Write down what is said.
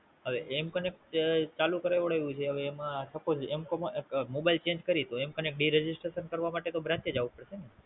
હવે M connect તો જોકે ચાલુ કરાવડાવ્યું છે હવે એમાં SupposeM connect register to do Branch જવું પડશે ને?